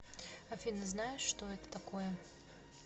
афина знаешь что это такое